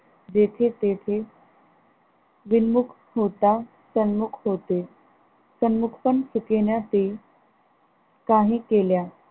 जेथे तेथे विन्मुख होता तन्मुख होते, तन्मुख पण सुठेनासे काही केल्या